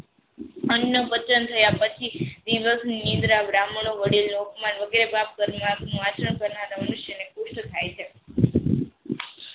અન્ના વચન રહ્યા પછી ટીનરસ નીન્દ્ર બ્રાહ્મણો વડીલો અપમાન વગરે આચરણ કરનાર મનુષ્ય પુસ્થ થાઈ છે.